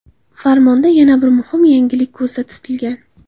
Farmonda yana bir muhim yangilik ko‘zda tutilgan.